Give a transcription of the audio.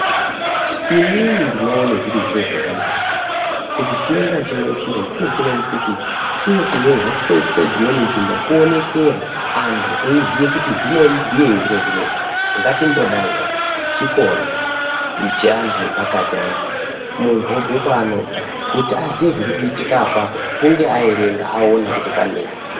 Inini ndinoone zviri zviro zvakanaka, kuti chimwe nachimwe chiro chive chine mupikicha, uye kunyorwa kwedzimweni nzvimbo kuonekere. Anthu eiziye kuti zvinobhuyei zviro zvinezvi. Ngatimbodayi oo, chikora, cheanthu epakati anaa, munthu obve kwaanobva, kuti aziye zviri kuitika apapo hunge aerenga, aona kuti paneyi.